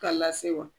K'a lase wa